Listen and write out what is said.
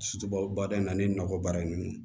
baara in na ani nakɔ baara in na